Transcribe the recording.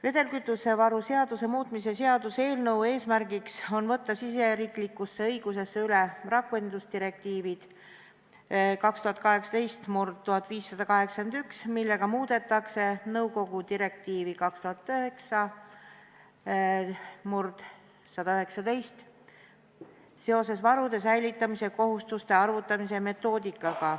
Vedelkütusevaru seaduse muutmise seaduse eelnõu eesmärk on võtta riigisisesesse õigusesse üle rakendusdirektiiv 2018/1581, millega muudetakse nõukogu direktiivi 2009/119/EÜ seoses varude säilitamise kohustuste arvutamise metoodikaga.